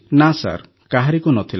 ନା ସାର୍ କାହାରିକୁ ନ ଥିଲା